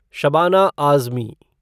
Shabana Azmi